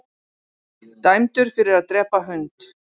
Dæmdur fyrir að drepa hund